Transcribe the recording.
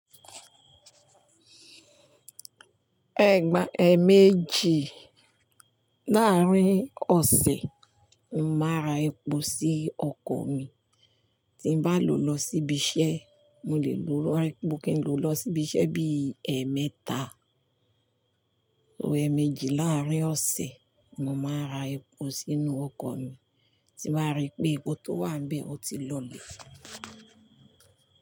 Ẹgba ẹẹmeji láàrin ọsẹ, ní mọ má rà èpò si okọ̀ mí, tí n ba lo lọ sibi iṣẹ, mo lẹ lo rà èpò kí n lo lọ sibi iṣẹ bi ẹẹmeta. Ẹpọ ẹmeji láàrin ọsẹ, mọ má rà èpò sínú okò mi, tí bá ri pé èpò to wà n bẹ o ti lo lẹ.